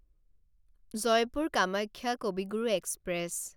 Jaipur Kamakhya Kavi Guru express